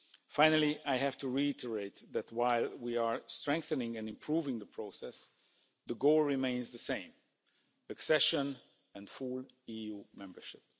Finally, I have to reiterate that while we are strengthening and improving the process, the goal remains the same accession and full EU membership.